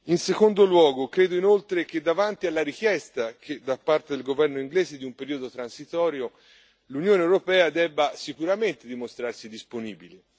in secondo luogo, credo inoltre, che davanti alla richiesta, da parte del governo inglese di un periodo transitorio, l'Unione europea debba, sicuramente dimostrarsi disponibile.